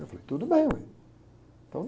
Eu falei, tudo bem, uai. Então